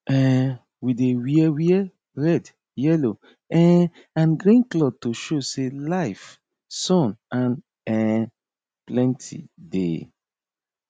um we dey wear wear red yellow um and green cloth to show sey life sun and um plenty dey